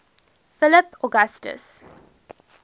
philip augustus